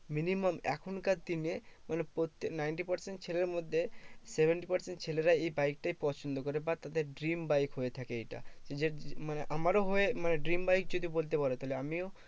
Minimum এখনকার দিনে মানে প্রত্যেক ninety percent ছেলের মধ্যে, seventy percent ছেলেরা এই বাইকটাই পছন্দ করে। but ওদের dream বাইক হয়ে থাকে এটা যে মানে আমারও হয়ে মানে dream বাইক যদি বলতে পারো তাহলে আমিও